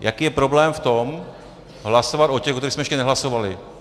Jaký je problém v tom, hlasovat o těch, o kterých jsme ještě nehlasovali?